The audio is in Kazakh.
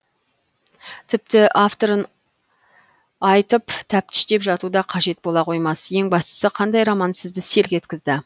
тіпті авторын айтып тәптіштеп жату да қажет бола қоймас ең бастысы қандай роман сізді селк еткізді